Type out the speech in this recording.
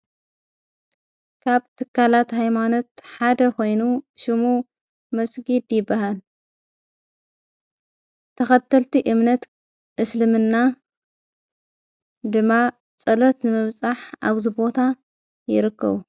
ካብ ትካላት ኣይማኖት ሓደ ኾይኑ ሹሙ መስጊድ ዲበሃል ተኸተልቲ እምነት እስልምና ድማ ጸሎት ምብጻሕ ኣብ ዘቦታ ይርከቡ።